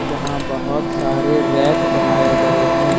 यहां बहुत सारे रैक बनाए गए हैं।